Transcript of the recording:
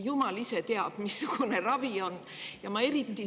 Jumal ise teab, missugune ravi on siis.